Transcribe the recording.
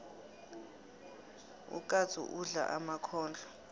ukatsu udla emakhondlo